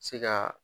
Se ka